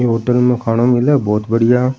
ये होटल में खाना मिले बहोत बढ़िया।